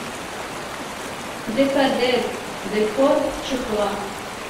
декадент декор чехла